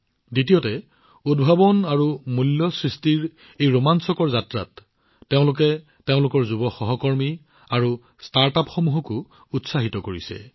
দ্বিতীয়তে উদ্ভাৱন আৰু মূল্য সৃষ্টিৰ এই ৰোমাঞ্চকৰ যাত্ৰাত তেওঁলোকে আন যুৱ সহকৰ্মী আৰু ষ্টাৰ্টআপসকলকো উৎসাহিত কৰিছে